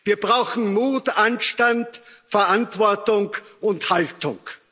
Wir brauchen Mut, Anstand, Verantwortung und Haltung.